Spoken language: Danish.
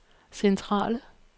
centrale